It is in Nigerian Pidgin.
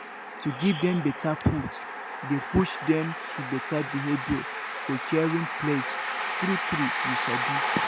to give dem better food dey push dem to better behavior for caring place true true you sabi